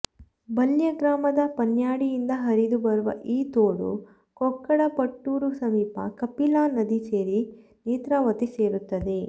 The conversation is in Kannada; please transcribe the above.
ಬಲ್ಯ ಗ್ರಾಮದ ಪನ್ಯಾಡಿಯಿಂದ ಹರಿದು ಬರುವ ಈ ತೋಡು ಕೊಕ್ಕಡ ಪಟ್ಟೂರು ಸಮೀಪ ಕಪಿಲಾ ನದಿ ಸೇರಿ ನೇತ್ರಾವತಿ ಸೇರುತ್ತದೆ